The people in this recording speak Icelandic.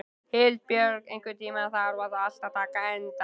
Hildibjörg, einhvern tímann þarf allt að taka enda.